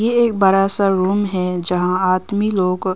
ये एक बड़ा सा रूम है जहां आदमी लोग--